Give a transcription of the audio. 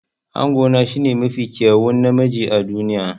Angona shine mafi kyawun namiji a duniya.